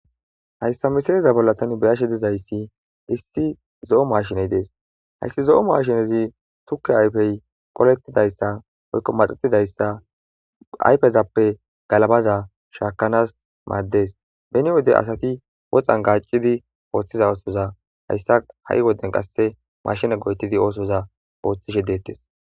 Hayssa misileza bolla thaani be7asheedazayssi isththi zo7o maashinee de7ees; haysi zo7o maashinezi thukke ayfee qoleththizayssa woykko maxeththizayssa ayfezappe galabaza shaakkanaas maaddees; beni wode asathi woxan gaaccidi ooththiza ooththiza ha7i wodiyan qassi maashine go7eththidi oosoza ooththishe deeththees.